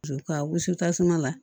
Ka wusu tasuma la